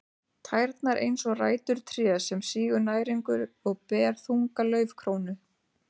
Tærnar eins og rætur trés sem sýgur næringu og ber þunga laufkrónu.